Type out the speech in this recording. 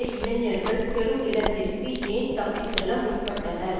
இளைஞர்கள் பெரும் இடத்திற்கு ஏன் தப்பி செல்ல முற்பட்டனர்